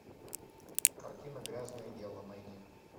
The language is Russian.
картина грязное дело найди